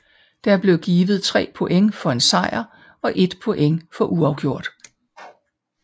Der blev givet 3 point for en sejr og 1 point for uafgjort